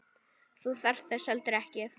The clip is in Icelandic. Þú þarft þess heldur ekki.